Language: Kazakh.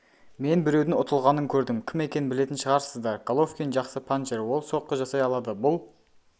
мен біреудің ұтылғанын көрдім кім екенін білетін шығарсыздар головкин жақсы панчер ол соққы жасай алады бұл